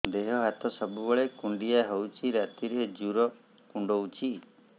ଦେହ ହାତ ସବୁବେଳେ କୁଣ୍ଡିଆ ହଉଚି ରାତିରେ ଜୁର୍ କୁଣ୍ଡଉଚି